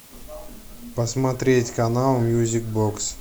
посмотреть канал мьюзик бокс